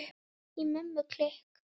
Í Mömmu klikk!